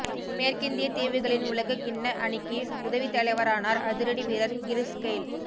மேற்கிந்தியத் தீவுகளின் உலகக் கிண்ண அணிக்கு உதவித் தலைவரானார் அதிரடி வீரர் கிறிஸ் கெய்ல்